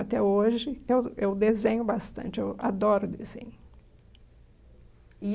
Até hoje eu eu desenho bastante, eu adoro desenho. E